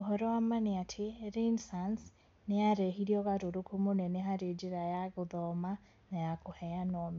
Ũhoro wa ma nĩ atĩ, Renaissance nĩyarehire ũgarũrũku mũnene harĩ njĩra ya gũthoma na ya kũheana ũmenyo.